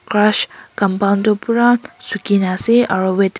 compound tuh pura sukhina ase aro weath--